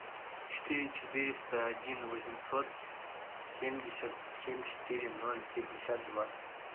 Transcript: четыре четыреста один восемьсот семьдесят семь четыре ноль пятьдесят два